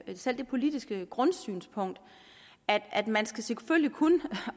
har selv det politiske grundsynspunkt at at man selvfølgelig kun